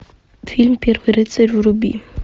фильм первый рыцарь вруби